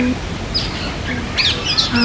Þeim er alveg sama.